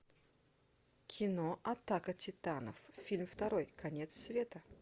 кино атака титанов фильм второй конец света